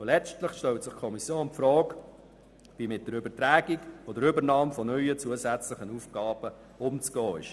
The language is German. Letztlich hat sich die Kommission die Frage gestellt, wie mit der Übertragung oder Übernahme von neuen zusätzlichen Aufgaben umzugehen ist.